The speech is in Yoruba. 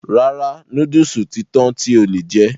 Rárá, núdùsù ti tán tí o lè jẹ.